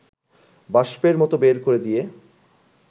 বাষ্পের মতো বের করে দিয়ে